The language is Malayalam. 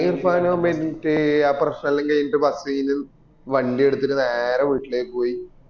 ആ പ്രശ്നം എല്ലൊം കഴിഞ്ഞീട് ബക്രീദും വണ്ടി എടുത്തിട്ട് നേരെ വീട്ടിലേക്ക് പോയി